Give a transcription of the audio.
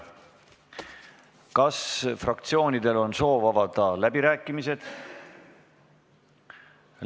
Kas fraktsioonidel on soovi avada läbirääkimisi?